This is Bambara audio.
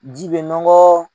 Ji bɛ nɔgɔ.